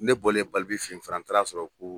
Ne bɔlen Balbi fɛ yen fana, n taara sɔrɔ ko.